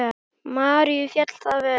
Maríu féll það vel.